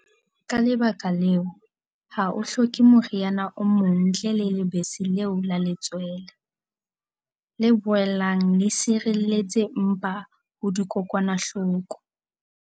Ka lebaka leo, ha o hloke moriana o mong ntle le lebese leo la letswele, le boelang le sireletse mpa ho dikokwanahloko.